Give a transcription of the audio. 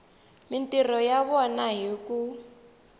mintirho ya vona hi ku